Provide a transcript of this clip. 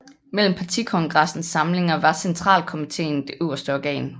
Mellem Partikongressens samlinger var centralkomiteen det øverste organ